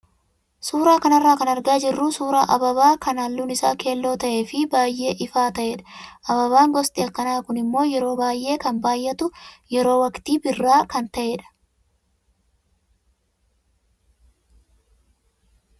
Suuraa kanarraa kan argaa jirru suuraa ababaa kan halluun isaa keelloo ta'ee fi baay'ee ifaa ta'edha. Ababaan gosti akkanaa kun immoo yeroo baay'ee kan baay'atu yeroo waqtii birraa kan ta'eedha.